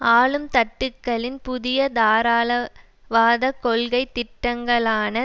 ஆளும் தட்டுக்களின் புதிய தாராளவாத கொள்கை திட்டங்களான